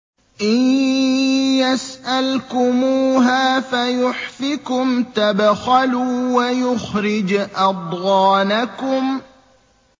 إِن يَسْأَلْكُمُوهَا فَيُحْفِكُمْ تَبْخَلُوا وَيُخْرِجْ أَضْغَانَكُمْ